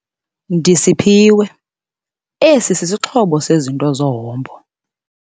Ndisiphiwe esi singxobo sezinto zehombo.